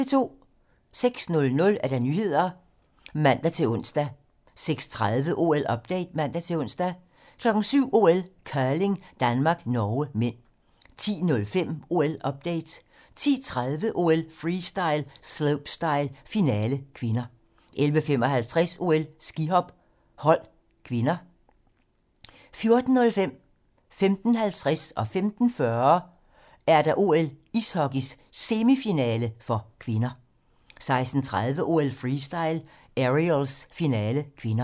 06:00: Nyhederne (man-ons) 06:30: OL-update (man-ons) 07:00: OL: Curling - Danmark-Norge (m) 10:05: OL-update 10:30: OL: Freestyle - slopestyle, finale (k) 11:55: OL: Skihop - hold (k) 14:05: OL: Ishockey - semifinale (k) 14:50: OL: Ishockey - semifinale (k) 15:40: OL: Ishockey - semifinale (k) 16:30: OL: Freestyle - aerials, finale (k)